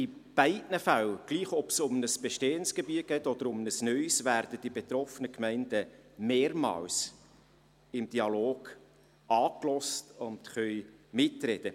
In beiden Fällen, ob es nun um ein bestehendes Gebiet geht oder um ein neues, werden die betroffenen Gemeinden mehrmals im Dialog angehört und können mitreden.